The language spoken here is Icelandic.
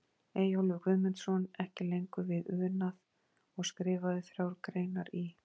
Eyjólfur Guðmundsson, ekki lengur við unað og skrifaði þrjár greinar í